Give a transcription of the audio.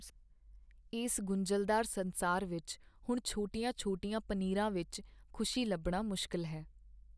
ਇਸ ਗੁੰਝਲਦਾਰ ਸੰਸਾਰ ਵਿੱਚ ਹੁਣ ਛੋਟੀਆਂ ਛੋਟੀਆਂ ਪਨੀਰਾਂ ਵਿੱਚ ਖ਼ੁਸ਼ੀ ਲੱਭਣਾ ਮੁਸ਼ਕਿਲ ਹੈ